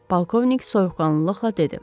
Polkovnik soyuqqanlılıqla dedi.